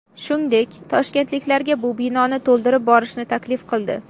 Shungdek, toshkentliklarga bu binoni to‘ldirib borishni taklif qildi.